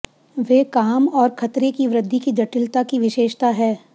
वे काम और खतरे की वृद्धि की जटिलता की विशेषता है